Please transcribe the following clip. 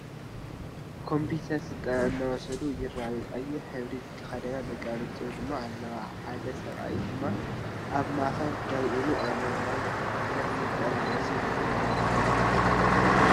ኮፒተር ስልጠና እናወሰዱ ይርከቡ። ቀይሕ ሕብሪ ዝተከደና ደቂ ኣንስትዮ ድማ ኣለዋ። ሓደ ስብኣይ ድማ ኣብ ማእከል ደው ኢሉ ኣሎ። ናይ ኮፒተር ስልጠና ወሲድኩም ዶ ትፈልጡ?